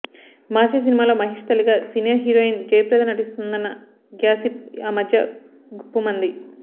మహర్షి సినిమాలో మహేష్ తల్లిగా senior heroine Jayaprada నటిస్తోందన్న గ్యాసిప్ ఆ మధ్య గుప్పుమంది